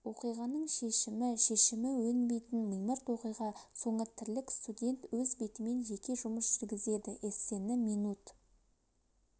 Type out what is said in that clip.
оқиғаның шешімі шешімі өнбейтін мимырт оқиға соңы тірлік студент өз бетімен жеке жұмыс жүргізеді эссені минут